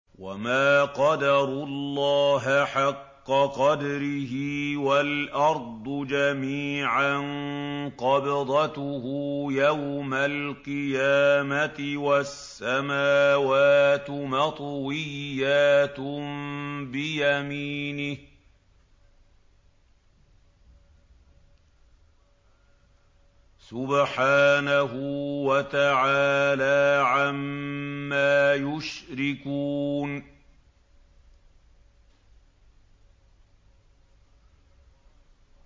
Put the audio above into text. وَمَا قَدَرُوا اللَّهَ حَقَّ قَدْرِهِ وَالْأَرْضُ جَمِيعًا قَبْضَتُهُ يَوْمَ الْقِيَامَةِ وَالسَّمَاوَاتُ مَطْوِيَّاتٌ بِيَمِينِهِ ۚ سُبْحَانَهُ وَتَعَالَىٰ عَمَّا يُشْرِكُونَ